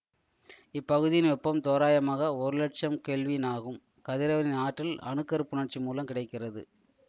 இப்பகுதியின் வெப்பம் தோராயமாக ஒரு லட்சம் கெல்வின் ஆகும் கதிரவனின் ஆற்றல் அணு கரு புணர்ச்சி மூலம் கிடைக்கிறது